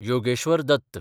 Yogeshwar Dutt